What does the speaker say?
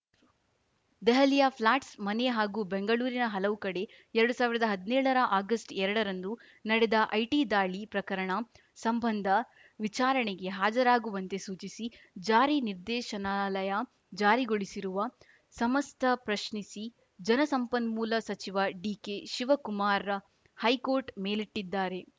ದೆಹಲಿಯ ಫ್ಲ್ಯಾಟ್‌ ಮನೆ ಹಾಗೂ ಬೆಂಗಳೂರಿನ ಹಲವು ಕಡೆ ಎರಡ್ ಸಾವಿರದ ಹದ್ನೇಳರ ಆಗಸ್ಟ್ ಎರಡರಂದು ನಡೆದ ಐಟಿ ದಾಳಿ ಪ್ರಕರಣ ಸಂಬಂಧ ವಿಚಾರಣೆಗೆ ಹಾಜರಾಗುವಂತೆ ಸೂಚಿಸಿ ಜಾರಿ ನಿರ್ದೇಶನಾಲಯ ಜಾರಿಗೊಳಿಸಿರುವ ಸಮಸ್ತ ಪ್ರಶ್ನಿಸಿ ಜಲಸಂಪನ್ಮೂಲ ಸಚಿವ ಡಿಕೆಶಿವಕುಮಾರ್‌ ಹೈಕೋರ್ಟ್‌ ಮೆಲಿಟ್ಟಿದ್ದಾರೆ